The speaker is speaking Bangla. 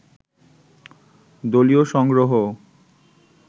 দলীয় সংগ্রহও